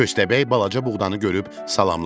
Köstəbək balaca buğdanı görüb salamladı.